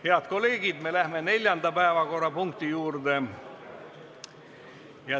Head kolleegid, läheme neljanda päevakorrapunkti juurde.